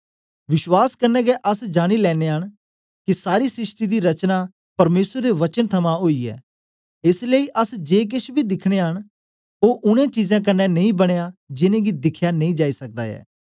विश्वास कन्ने गै अस जानी लेने न के सारी सृष्टि दी रचना परमेसर दे वचन थमां ओई ऐ एस लेई अस जे केछ बी दिखनयां न ओ उनै चीजें कन्ने नेई बनया जिनेंगी दिखया नेई जाई सकदा ऐ